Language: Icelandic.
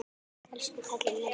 Elsku kallinn minn.